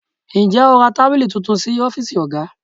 Ǹjẹ́ o ra tábìlì tuntun sí ọ́fíìsì oga?